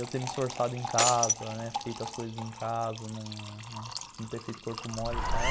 Eu ter me esforçado em casa, ter feito as coisas em casa, não não ter feito corpo mole e tal.